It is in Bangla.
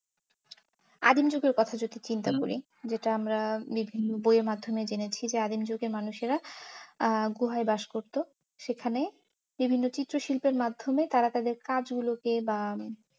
আদিম যুগের কথা যদি চিন্তা করি, যেটা আমরা বিভিন্ন বইয়ের মাধ্যমে জেনেছি যে আদিম যুগের মানুষেরা আহ গুহায় বাস করতো সেখানে বিভিন্ন চিত্র শিল্পের মাধ্যমে তারা তাদের কাজ গুলো কে, বা